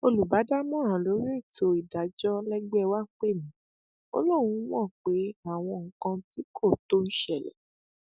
olùbádámọràn lórí ètò ìdájọ lẹgbẹ wàá pè mí ó lóun mọ pé àwọn nǹkan tí kò tó ń ṣẹlẹ